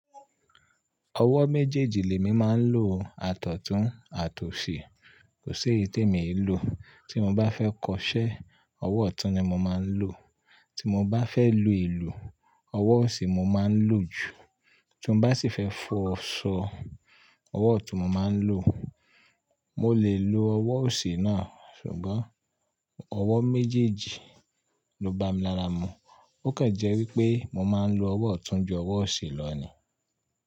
Ọwọ́ méjèèjì lèmi máa ń lo àtọ̀tún àtọ̀ṣi, kò si e iti mi lọ. Tí mo bá fẹ́ kọṣẹ́, ọwọ́ ọ̀tún ni mo máa ń lò. Tí mo bá fẹ́ lù ìlú, ọwọ́ ọ̀sì mo máa ń lò jù. Tun bá sì fẹ́ fọṣọ, ọwọ́ ọ̀tún mo máa ń lò. Mo lè lo ọwọ́ ọ̀sì náà, ṣùgbọ́n ọwọ́ méjèèjì ló bá mi lára mu. Ó kàn jẹ́ wípé mo máa ń lo ọwọ́ ọ̀tún ju ọwọ́ ọ̀sìn lọ ni.